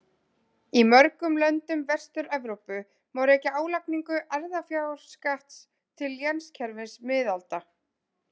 Í mörgum löndum Vestur-Evrópu má rekja álagningu erfðafjárskatts til lénskerfis miðalda.